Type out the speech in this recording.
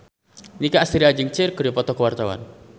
Nicky Astria jeung Cher keur dipoto ku wartawan